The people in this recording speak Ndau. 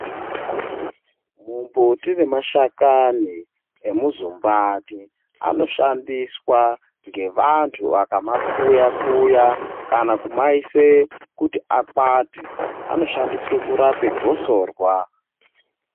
Mumbuti nemashakani emuzumbatii anoshandiswa ngevanthu vakamakuya-kuya kana kumaise kuti akwate, anoshandiswe kurapa gosorwa.